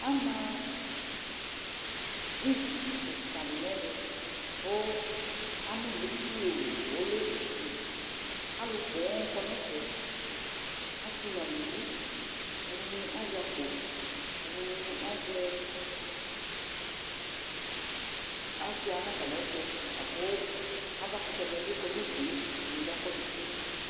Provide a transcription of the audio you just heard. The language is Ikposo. Ama bridzi kika di nʋ ɛvɛ kʋ anuli pioo, ɔlɛ utu Alʋ poo kɔ nʋ ɛfɛ:asɩ nʋ aluvi Ɛdɩnɩ azɛ akpo, ɛdɩnɩ asʋia nʋ atamɩ ɛtʋ Akʋ avakʋtɛ dɩnɩ bɩ kɔ nʋ udu yɛ Ɛdɩnɩ akɔ tsitsi